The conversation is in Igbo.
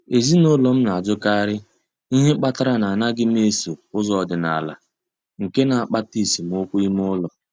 Ezinụlọ m na-ajụkarị ihe kpatara na m anaghị eso ụzọ ọdịnala, nke na-akpata esemokwu ime ụlọ.